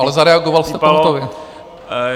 Ale zareagoval jste pohotově.